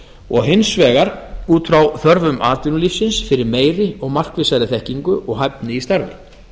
og hins vegar út frá þörfum atvinnulífsins fyrir meiri og markvissari þekkingu og hæfni í starfi